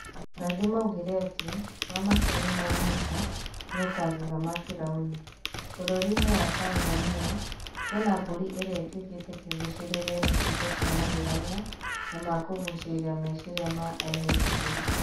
Arathi maugire atĩ "wamakio nĩ ma Musa nĩ ũkagega ma Biraũni", bũrũri-inĩ wa Tanzania kwĩna mbũri irĩa ituĩkĩte kĩgucĩrĩrio nĩ ciĩko cia magegania na makũgucĩrĩria meciria ma ehĩtũkĩri